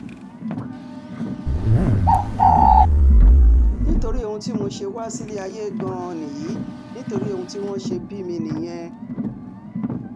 nítorí ohun tí mo ṣe wá sílé ayé gan-an nìyí nítorí ohun tí wọ́n ṣe bí mi nìyẹn